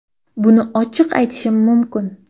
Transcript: Buni ochiq aytishim mumkin.